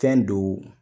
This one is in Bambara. Fɛn don